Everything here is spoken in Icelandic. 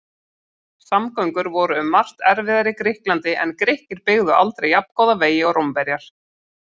Samgöngur voru um margt erfiðar í Grikklandi en Grikkir byggðu aldrei jafngóða vegi og Rómverjar.